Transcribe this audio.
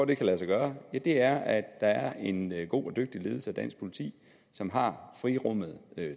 det kan lade sig gøre er at der er en god og dygtig ledelse af dansk politi som har frirummet